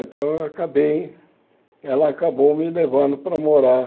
Então eu acabei... Ela acabou me levando para morar